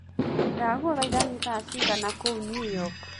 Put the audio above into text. ndagũthaĩtha ni thaa cĩĩgana kũũ new york